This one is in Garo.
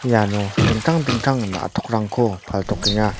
iano dingtang dingtang na·tokrangko paltokenga.